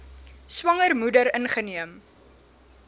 swanger moeder ingeneem